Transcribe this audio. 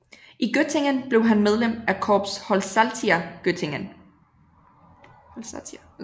I Göttingen blev han medlem af Corps Holsatia Göttingen